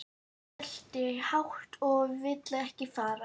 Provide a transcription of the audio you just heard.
Hann geltir hátt og vill ekki fara.